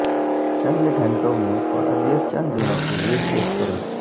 چند گھنٹوں میں اور اگلے چند دنوں کے لئے چیک کریں